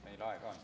Meil aega on.